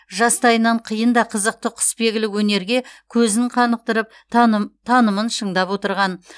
жастайынан қиын да қызықты құсбегілік өнерге көзін қанықтырып танымын шыңдап отырған